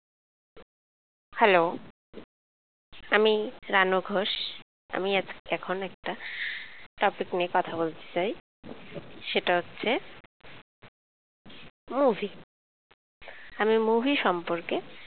hello আমি রানু ঘোষ আমি এখন একটা topic নিয়ে কথা বলতে চাই সেটা হচ্ছে movie আমি movie সম্পরকে।